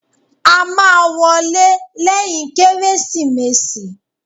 A máa wọlé lẹ́yìn Kérésìmesì.